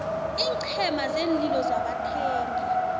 iinqhema zeenlilo zabathengi